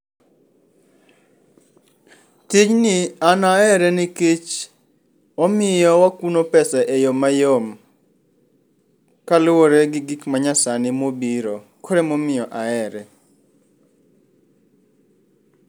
Tijni an ahere nikech omiyo wakuno pesa eyo mayom kaluwore gi gik manyasani mobiro. Koro emomiyo ahere.